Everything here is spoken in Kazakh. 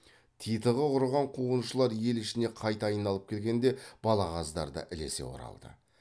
титығы құрыған қуғыншылар ел ішіне қайта айналып келгенде балағаздар да ілесе оралды